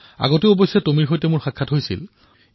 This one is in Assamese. আগতেও টোমীক মই লগ পাইছিলো